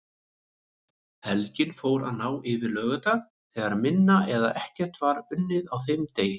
Helgin fór að ná yfir laugardag þegar minna eða ekkert var unnið á þeim degi.